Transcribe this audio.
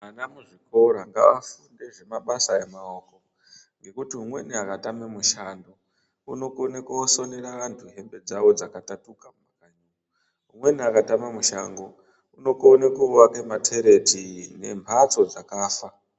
Ana mu zvikora ngava funde zve mabasa e maoko ngekuti umweni aka tame mushando unokone kosonere antu hembe dzawo dzaka tatuka mu makanyi umweni aka tama mushango unokone kuvake matereti ne mbatso dzakafa.